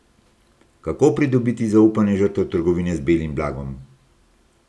Kako pridobiti zaupanje žrtev trgovine z belim blagom?